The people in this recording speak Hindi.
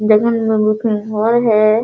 हॉल है |